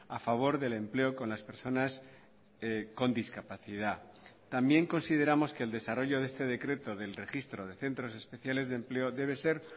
a favor del empleo con las personas con discapacidad también consideramos que el desarrollo de este decreto del registro de centros especiales de empleo debe ser